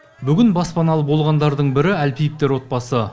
баспаналы болғандардың бірі әлпиевтер отбасы